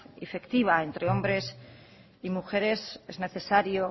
efectiva entre hombres y mujeres es necesario